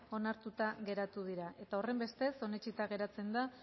onartuta geratu dira eta horrenbestez onetsita geratzen da